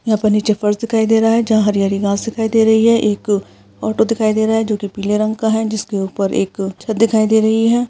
यहाँ पे नीचे फर्श दिखाई दे रहा है जहाँ हरी-हरी घास दिखाई दे रही है एक ऑटो दिखाई दे रहा है जो कि पीले रंग का है जिसके उपर एक छत दिखाई दे रही है।